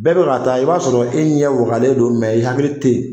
Bɛɛ bɛ ka taa i b'a sɔrɔ e ɲɛ wagalen don mɛ i hakili tɛ yen.